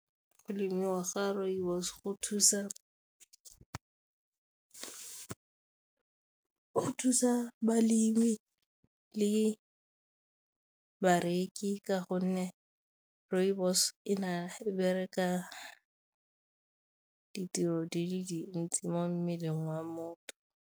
Go lemiwa ga rooibos go thusa balemi le bareki ka gonne rooibos e bereka ditiro di le dintsi mo mmeleng wa motho.